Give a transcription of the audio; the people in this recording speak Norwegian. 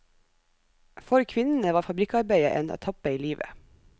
For kvinnene var fabrikkarbeidet en etappe i livet.